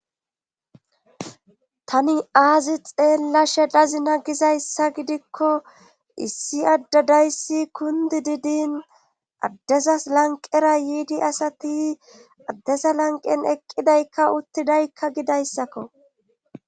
Tani aazi xeella shelazina gizayssa gidikko issi addadayssi kundi didin addezas lanqera yiidi asati addesa lanqen eqqidaykka uttidaykka gidayssakko.